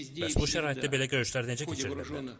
Bəs bu şəraitdə belə görüşlər necə keçirilə bilər?